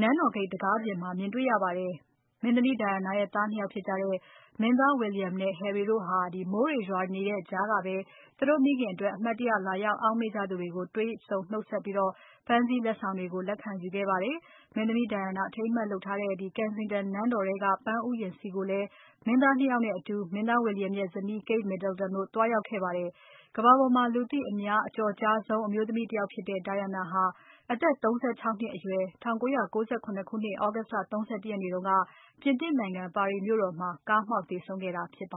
နန်းတော်ဂိတ်တံခါးအပြင်မှာ မြင်တွေ့ရပါတယ်။ မင်းသမီး Diana ရဲ့သား ၂ ယောက်ဖြစ်ကြတဲ့ မင်းသား William နဲ့ Harry တို့ဟာ မိုးတွေရွာနေတဲ့ကြားကပဲ သူတို့မိခင်အတွက် အမှတ်တရလာရောက် အောက်မေ့ကြသူတွေကို တွေ့ဆုံနှုတ်ဆက်ခဲ့ပြီး ပန်းစည်းလက်ဆောင်တွေကို လက်ခံယူခဲ့ကြပါတယ်။ မင်းသမီး Diana အထိမ်းအမှတ်လုပ်ထားတဲ့ Kensington နန်းတော်ထဲက ပန်းဥယျာဉ်ဆီကိုလည်း မင်းသား ၂ ယောက်နဲ့အတူ မင်းသား William ရဲ့ဇနီး Kate Middleton တို့သွားရောက်ခဲ့ကြပါတယ်။ ကမ္ဘာပေါ်မှာ လူသိအများအကျော်ကြားဆုံး အမျိုးသမီးတယောက်ဖြစ်တဲ့ Diana ဟာ အသက် ၃၆ နှစ်အရွယ် ၁၉၉၇ ခုနှစ် သြဂုတ် လ ၃၁ ရက်နေ့ တုန်းက ပြင်သစ်နိုင်ငံ ပါရီမြို့တော်မှာ ကားမှောက်သေဆုံးခဲ့တာဖြစ်ပါ